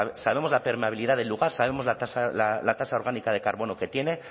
sabemos la permeabilidad del lugar sabemos la tasa orgánica de carbono que tiene